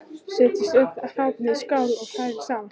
Setjið öll hráefnin í skál og hrærið saman.